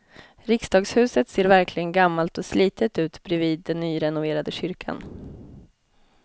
Riksdagshuset ser verkligen gammalt och slitet ut bredvid den nyrenoverade kyrkan.